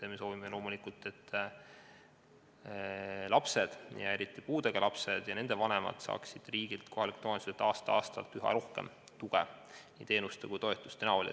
Me soovime, et lapsed, eriti puudega lapsed ja nende vanemad saaksid riigilt ja kohalikelt omavalitsustelt aasta-aastalt üha rohkem tuge nii teenuste kui ka toetuste näol.